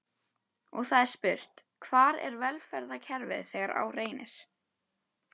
Og það er spurt: Hvar er velferðarkerfið þegar á reynir?